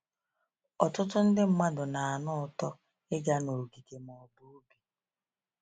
Ọtụtụ mmadụ na-anụ ụtọ ịga n’ogige ma ọ bụ ubi.